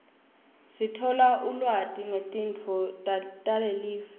sithola ulwati ngetinto talelive